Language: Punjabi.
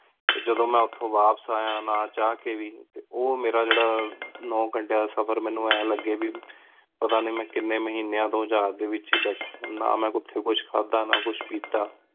ਟੀ ਜਦੋਂ ਮੇਂ ਓਥੋਂ ਵਾਪਸ ਯਾ ਨਾ ਚਾਹ ਕ ਵੀ ਓਹ ਮੇਰਾ ਜੇਰ੍ਰਾ ਨਿਨੇ ਗੰਤ੍ਯਾ ਦਾ ਸਫ਼ਰ ਮਨੁ ਇੰਜ ਲਗੀ ਵੀ ਪਤਾ ਨੀ ਮੇਂ ਕਿੰਨੀ ਮਹੀਨੀ ਤੋ ਜਹਾਜ਼ ਏਚ ਬੇਤਹਾ ਨਾ ਮੇਂ ਓਥੀ ਕੁਝ ਖੜਾ ਨਾ ਕੁਝ ਪੀਤਾ